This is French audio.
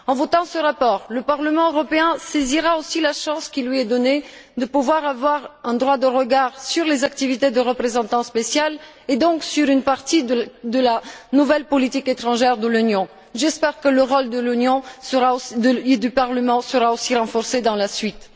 En votant ce rapport, le Parlement européen saisira aussi la chance qui lui est donnée de pouvoir avoir un droit de regard sur les activités du représentant spécial et donc sur une partie de la nouvelle politique étrangère de l'Union. J'espère que le rôle de l'Union et celui du Parlement seront aussi renforcés par la suite.